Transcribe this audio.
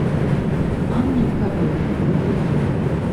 анна и король загрузи